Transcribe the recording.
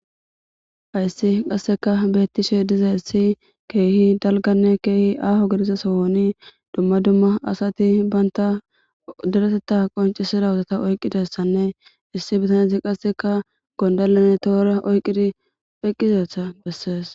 Hayssi qasseka beettishe dizaessi keehi dalganne keehi aaho gedisa sohoni dumma dumma asati banta daretetta qoncisira wuzata oyqqidessanne issi bitaneti qasseka gondalane toora oyqqidi eqqizetha bessees.